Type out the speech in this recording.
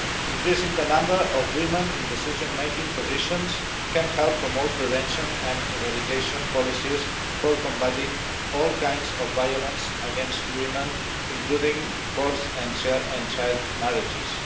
Increasing the number of women in decision making positions can help promote prevention and eradication policies for combating all kinds of violence against women, including forced and child marriages.